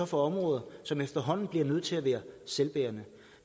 for områder som efterhånden bliver nødt til at være selvbærende